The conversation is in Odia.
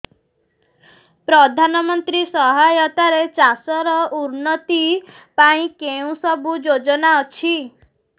ପ୍ରଧାନମନ୍ତ୍ରୀ ସହାୟତା ରେ ଚାଷ ର ଉନ୍ନତି ପାଇଁ କେଉଁ ସବୁ ଯୋଜନା ଅଛି